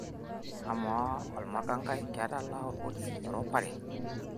amaa olmakangai ketalaa olpolisi erupare